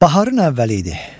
Baharın əvvəli idi.